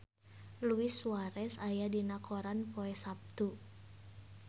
Luis Suarez aya dina koran poe Saptu